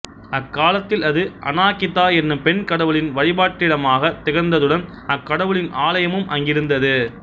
அக்காலத்தில் அது அநாகித்தா என்னும் பெண் கடவுளின் வழிபாட்டிடமாகத் திகழ்ந்ததுடன் அக்கடவுளின் ஆலயமும் அங்கிருந்தது